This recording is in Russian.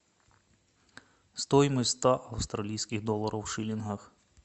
стоимость ста австралийских долларов в шиллингах